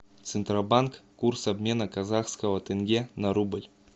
центробанк курс обмена казахского тенге на рубль